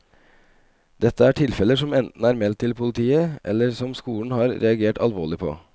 Dette er tilfeller som enten er meldt til politiet eller som skolen har reagert alvorlig på.